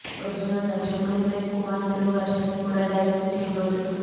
original దర్శకుడే Prem Kumar Telugu version ని కూడా డైరెక్ట్ చేయబోతున్నారు